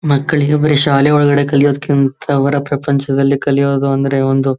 ಮಕ್ಕಳಿಗೆ ಬರೇ ಶಾಲೆಯ ಒಳಗಡೆ ಕಲಿಯೋದಕ್ಕಿಂತ ಅವರ ಪ್ರಪಂಚದಲ್ಲಿ ಕಲಿಯೋದು ಅಂದ್ರೆ ಒಂದು--